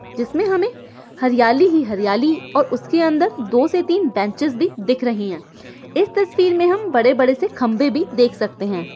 जिसमे हमे हरियाली ही हरियाली और उसके अंदर दो से तीन बेंचेस भी दिख रही है इस तस्वीर मे हम बड़े बड़े से खंबे भी देख सकते है।